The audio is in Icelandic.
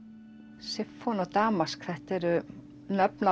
damask þetta eru nöfn á